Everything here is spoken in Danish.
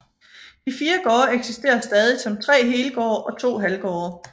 De fire gårde eksisterer stadig som tre helgårde og to halvgårde